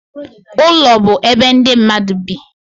Ụlọ bụ ebe ndị mmadụ bi.